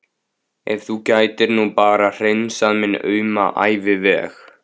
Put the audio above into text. Ef þú gætir nú bara hreinsað minn auma æviveg.